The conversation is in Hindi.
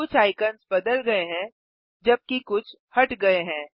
कुछ आइकन्स बदल गये हैं जबकि कुछ हट गये हैं